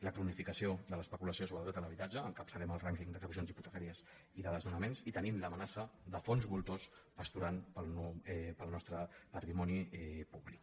la cronificació de l’especulació sobre el dret a l’habitatge encapçalem el rànquing d’execucions hipotecàries i de desnonaments i tenim l’amenaça de fons voltors pasturant pel nostre patrimoni públic